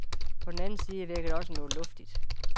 På den anden side virker det også noget luftigt.